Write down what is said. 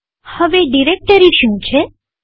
હવે ડિરેક્ટરી શું છે